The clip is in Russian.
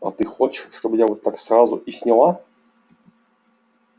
а ты хочешь чтобы я вот так сразу и сняла